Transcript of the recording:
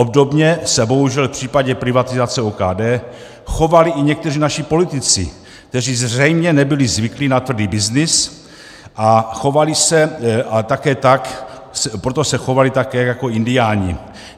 Obdobně se bohužel v případě privatizace OKD chovali i někteří naši politici, kteří zřejmě nebyli zvyklí na tvrdý byznys, a proto se chovali také jako indiáni.